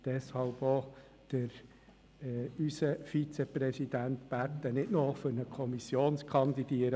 Deshalb haben wir unseren Vizepräsidenten gebeten, nicht noch für eine Kommission zu kandidieren.